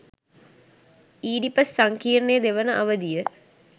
Oedipus සංකීර්ණයේ දෙවන අවධිය